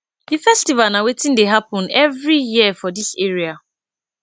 di festival na weti dey happen every year for dis area